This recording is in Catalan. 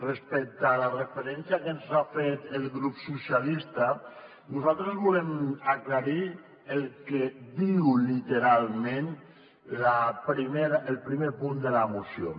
respecte a la referència que ens ha fet el grup socialistes nosaltres volem aclarir el que diu literalment el primer punt de la moció